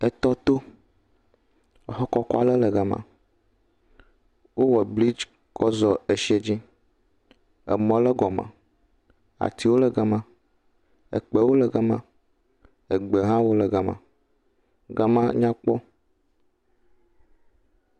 Etɔto, ŋu kɔkɔ aɖe le gama. Wowɔ blidzi kɔ zɔ eshiɛ dzi. Emɔ le egɔme. Atiwo le gama, ekpewo le gama, egbewo ha le gama. Gama nya kpɔ.